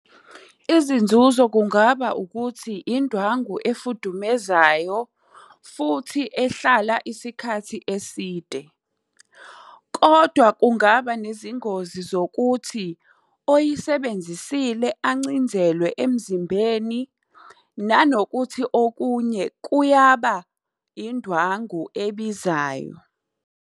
Izinzuzo kungaba ukuthi indwangu efudumezayo, futhi ehlala isikhathi eside. Kodwa kungaba nezingozi zokuthi oyisebenzisile ancinzelwe emzimbeni, nanokuthi okunye kuyaba indwangu ebizayo.